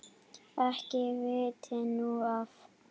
Ekki veitti nú af.